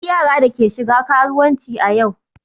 Akwai yara da ke shiga karuwanci a yau.